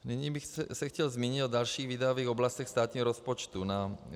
Nyní bych se chtěl zmínit o dalších výdajových oblastech státního rozpočtu.